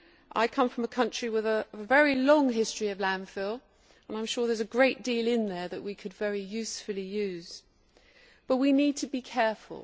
I come from a country with a very long history of landfill, and I am sure there is a great deal in there that we could very usefully use, but we need to be careful.